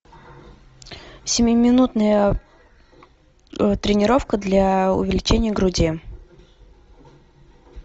семиминутная тренировка для увеличения груди